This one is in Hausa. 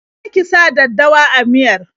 Je ki sa daddawa a miyar!